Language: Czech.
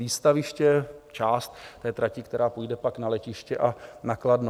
Výstaviště, část té trati, která půjde pak na letiště a na Kladno.